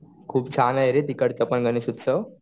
खूप छान आहे रे तिकडचा पण गणेश उत्सव.